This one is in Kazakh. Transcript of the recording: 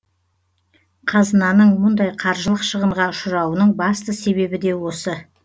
қазынаның мұндай қаржылық шығынға ұшырауының басты себебі де осы